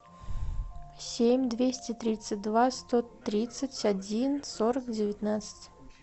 семь двести тридцать два сто тридцать один сорок девятнадцать